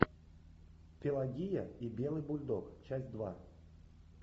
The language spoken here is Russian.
пелагея и белый бульдог часть два